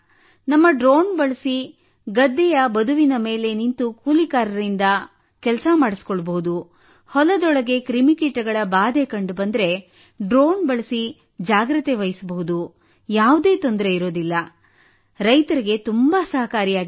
ನಮ್ಮ ಡ್ರೋನ್ ಬಳಸಿ ಗದ್ದೆಯ ಬದುಚಿನ ಮೇಲೆ ನಿಂತು ಕೂಲಿಕಾರರಿಂದ ಕೆಲಸ ಮಾಡಿಸಿಕೊಳ್ಳಬಹುದು ಹೊಲದೊಳಗೆ ಕ್ರಿಮಿ ಕೀಟಗಳ ಬಾಧೆ ಕಂಡುಬಂದರೆ ಡ್ರೋನ್ ಬಳಸಿ ಜಾಗ್ರತೆ ವಹಿಸಬಹುದು ಯಾವುದೇ ತೊಂದರೆ ಇಲ್ಲ ರೈತರಿಗೂ ತುಂಬಾ ಸಹಾಯಕಾರಿಯಾಗಿದೆ